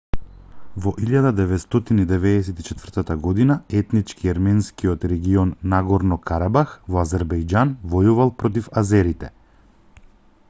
во 1994 година етнички ерменскиот регион нагорно-карабах во азербејџан војувал против азерите